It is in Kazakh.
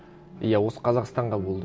иә осы қазақстанға болды